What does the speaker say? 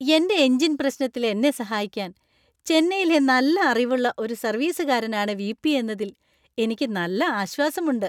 എന്‍റെ എഞ്ചിൻ പ്രശ്നത്തിൽ എന്നെ സഹായിക്കാൻ ചെന്നൈയിലെ നല്ല അറിവുള്ള ഒരു സർവീസുകാരൻ ആണ് വി.പി. എന്നതിൽ എനിക്ക് നല്ല ആശ്വാസമുണ്ട്.